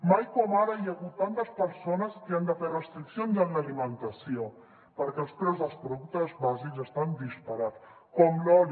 mai com ara hi ha hagut tantes persones que han de fer restriccions en l’alimentació perquè els preus dels productes bàsics estan disparats com l’oli